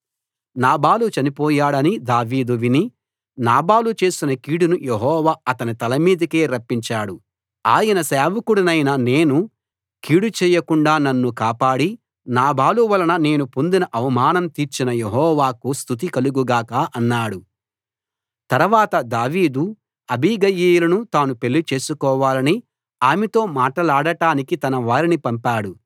నాబాలు చనిపోయాడని దావీదు విని నాబాలు చేసిన కీడును యెహోవా అతని తలమీదికే రప్పించాడు ఆయన సేవకుడినైన నేను కీడు చేయకుండా నన్ను కాపాడి నాబాలు వలన నేను పొందిన అవమానం తీర్చిన యెహోవాకు స్తుతి కలుగు గాక అన్నాడు తరవాత దావీదు అబీగయీలును తాను పెళ్లి చేసుకోవాలని ఆమెతో మాటలాడడానికి తన వారిని పంపాడు